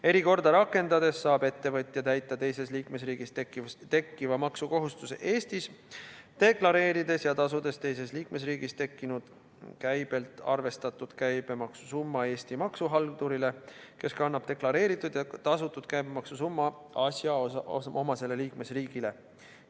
Erikorda rakendades saab ettevõtja täita teises liikmesriigis tekkiva maksukohustuse Eestis, deklareerides ja tasudes teises liikmesriigis tekkinud käibelt arvestatud käibemaksusumma Eesti maksuhaldurile, kes kannab deklareeritud ja tasutud käibemaksusumma üle asjaomasele liikmesriigile.